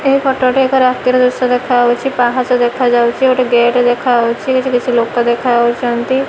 ଏହି ଫଟ ଏକ ରାତିର ଦୃଶ୍ୟ ଦେଖାଯାଉଚି ପାହାଚ ଦେଖାଯାଉଚି ଗୋଟେ ଗେଟ ଦେଖାଯାଉଚି କିଛି କିଛି ଲୋକ ଦେଖାଯାଉଚନ୍ତି।